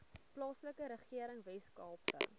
plaaslike regering weskaapse